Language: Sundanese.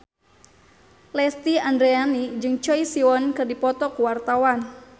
Lesti Andryani jeung Choi Siwon keur dipoto ku wartawan